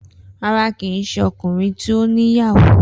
Rara kii ṣe ọkunrin ti o ni iyawo.